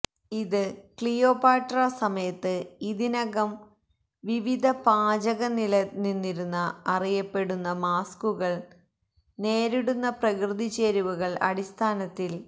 ഇത് ക്ലിയോപാട്ര സമയത്ത് ഇതിനകം വിവിധ പാചക നിലനിന്നിരുന്നു അറിയപ്പെടുന്നു മാസ്കുകൾ നേരിടുന്ന പ്രകൃതി ചേരുവകൾ അടിസ്ഥാനത്തിൽ